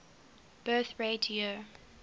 birth rate year